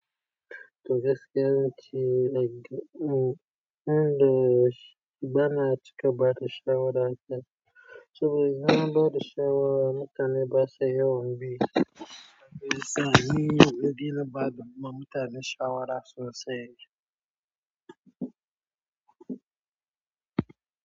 Toh gaskiya ce like mm, inda sh- bana cika bada shawara can. Saboda idan an bada shawara mutane basa yawan bi. Abunda yasa ni, na daina bada mutane shawara sosai.